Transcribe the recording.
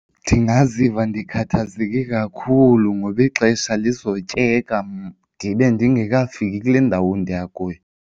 Ndingaziva ndikhathazeke kakhulu ngoba ixesha lizotyeka ndibe ndingekafiki kule ndawo ndiya kuyo.